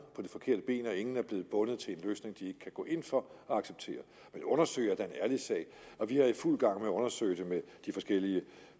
på det forkerte ben og ingen er blevet bundet til en løsning de ikke kan gå ind for og acceptere men at undersøge en ærlig sag og vi er i fuld gang med at undersøge det med de forskellige